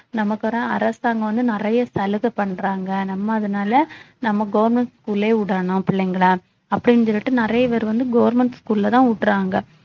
நமக்கு வர அரசாங்கம் வந்து நிறைய சலுகை பண்றாங்க நம்ம அதனால நம்ம government school லயே விடணும் பிள்ளைங்களை அப்படின்னு சொல்லிட்டு நிறைய பேர் வந்து government school ல தான் உடுறாங்க